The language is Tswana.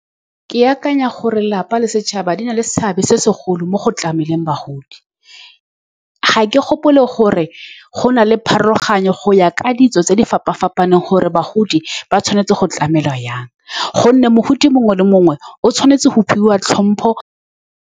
Ke akanya gore lelapa le setšhaba di na le seabe se segolo mo go tlameleng bagodi. Ga ke gopole gore go na le pharologano go ya ka ditso tse di fapa-fapaneng gore bagodi ba tshwanetse go tlamelwa jang, ka gonne mogodi mongwe le mongwe o tshwanetse go fiwa tlhompho.